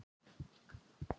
Hún ranghvolfir augunum.